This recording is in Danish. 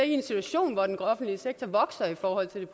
en situation hvor den offentlige sektor vokser i forhold til